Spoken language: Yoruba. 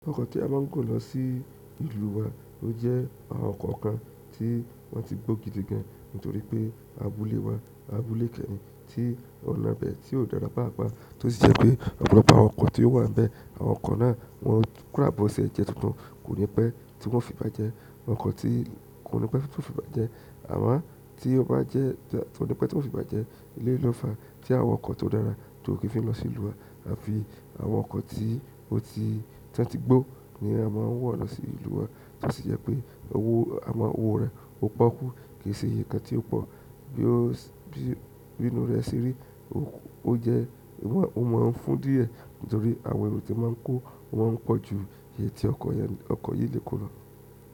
Ọkọ ti a máà n gun losi ìlú wa o jẹ àwọn ọkọ kan ti wọn ti gbo gidigan nitoripe abúlé wa. Abúlé kẹ́ẹ̀hin tí ọ̀nà bẹ̀, tí ó dára pàápàá, tó sì jẹ́ pé ọ̀pọ̀lọpọ̀ àwọn ọkọ̀ tí ó wà ń bẹ, àwọn ọkọ̀ náà wọn kò ràbọ̀ sí ẹ̀jẹ̀ tuntun, kò ní pẹ́ tí wọ́n fi bá jẹ, oko ti koni pe to fi bàjẹ́ amò tí o ba je koni pe ti o fi bàjẹ́ eleyii náà fa tí àwọn ọkọ ti o dára ti ko kin fe losi ìlú wá. Àwọn ọkọ̀ tí ó ti, tí wọ́n ti gbó ni a máa ń wọ̀ lọ sí ìlú wa, tó sì jẹ́ pé owó amọ́ owó rẹ̀ ó pọ́kú kì í ṣe iye kan tí ó pọ̀, bí ó, bí inú rẹ̀ ṣe rí, ó jẹ́ wọ́n, ó máa ń fún díẹ̀ nítorí àwọn èrò tí máa ń kó wọ́n pọ̀ ju iye tí ọkọ̀ yẹn, ọkọ̀ yìí lè kó lọ.